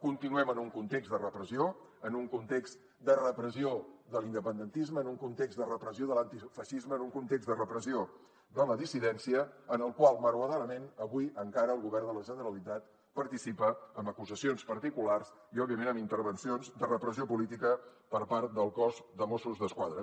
continuem en un context de repressió en un context de repressió de l’independentisme en un context de repressió de l’antifeixisme en un context de repressió de la dissidència en el qual malauradament avui encara el govern de la generalitat participa amb acusacions particulars i òbviament amb intervencions de repressió política per part del cos de mossos d’esquadra